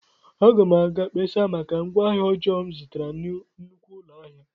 Aga m aga mkpesa maka ngwaahịa ọjọọ m zụtara na nnukwu ụlọ ahịa.